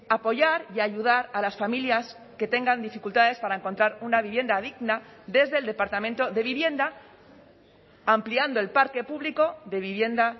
apoyar y ayudar a las familias que tengan dificultades para encontrar una vivienda digna desde el departamento de vivienda ampliando el parque público de vivienda